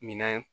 Minɛn